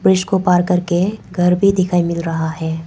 इसको पार करके घर भी दिखाई मिल रहा है।